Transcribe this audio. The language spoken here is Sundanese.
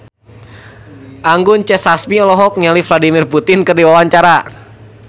Anggun C. Sasmi olohok ningali Vladimir Putin keur diwawancara